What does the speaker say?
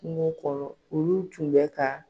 Kungo kɔnɔ olu tun bɛ ka